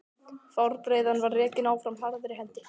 Fjárbreiðan var rekin áfram harðri hendi.